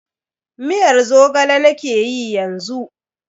Miyar Zogale nakeyi yanzu.